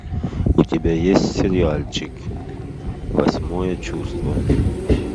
у тебя есть сериальчик восьмое чувство